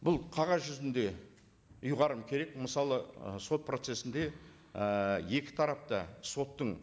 бұл қағаз жүзінде ұйғарым керек мысалы ы сот процессінде ііі екі тарап та соттың